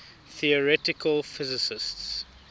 theoretical physicists